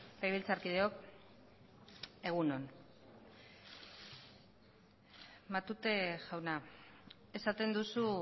legebiltzarkideok egun on matute jauna esaten duzu